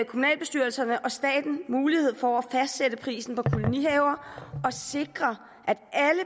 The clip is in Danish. kommunalbestyrelserne og staten mulighed for at fastsætte prisen på kolonihaver og sikre at